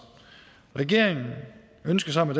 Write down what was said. regeringen ønsker sammen